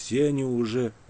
все они уже